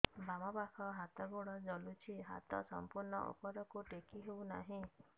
ବାମପାଖ ହାତ ଗୋଡ଼ ଜଳୁଛି ହାତ ସଂପୂର୍ଣ୍ଣ ଉପରକୁ ଟେକି ହେଉନାହିଁ